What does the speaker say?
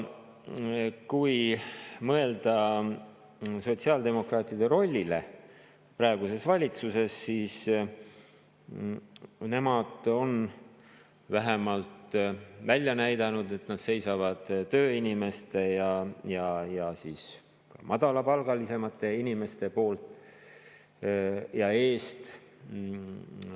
Kui mõelda sotsiaaldemokraatide rollile praeguses valitsuses, siis võib öelda, et nemad on vähemalt välja näidanud, et nad seisavad tööinimeste ja madalapalgaliste inimeste eest.